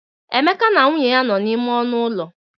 Emeka na nwunye nọ n'ime ọnụ ụlọ.